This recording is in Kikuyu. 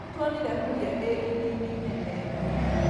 Nĩtuonire huria ĩ iria-inĩ inene